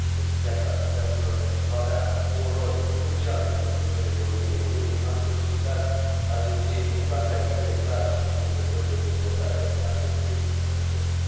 Întrucât piața aplicațiilor va avea un rol crucial pentru viitorul economiei Uniunii, am solicitat agenției un plan de acțiune clar și cuprinzător de dezvoltare a acestei piețe.